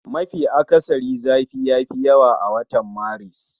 Mafi akasari zafi yafi yawa a watan Maris